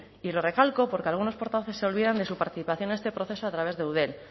y lo recalco porque algunos portavoces se olvidan de su participación en este proceso a través de eudel